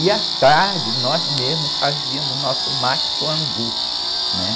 E, à tarde, nós mesmos fazíamos nosso mate com angu, né?